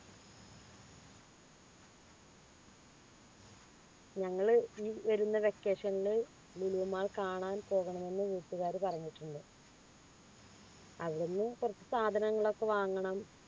ഞങ്ങൾ ഈ വരുന്ന vacation ൻ ലുലു mall കാണാൻ പോകണം എന്ന് വീട്ടുകാർ പറഞ്ഞിട്ടുണ്ട് അവിടുന്ന് കുറച്ച് സാധനങ്ങളൊക്കെ വാങ്ങണം